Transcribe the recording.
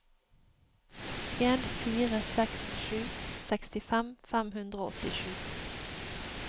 en fire seks sju sekstifem fem hundre og åttisju